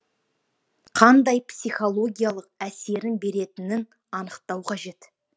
қандай психологиялық әсерін беретінін анықтау қажет